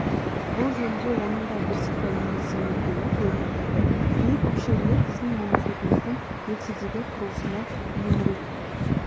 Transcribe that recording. бұл жөнінде оның да бірсыпыра еңбек сіңіргені көрініп тұрды биік өкшелілер біздің мемлекетіміздің ертедегі құрылысына бейімірек